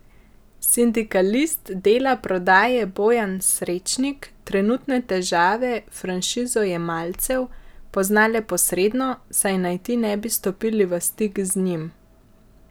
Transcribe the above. Sindikalist Dela Prodaje Bojan Srečnik trenutne težave franšizojemalcev pozna le posredno, saj naj ti ne bi stopili v stik z njim.